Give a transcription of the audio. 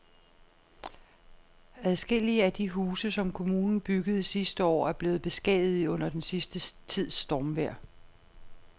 Adskillige af de huse, som kommunen byggede sidste år, er blevet beskadiget under den sidste tids stormvejr.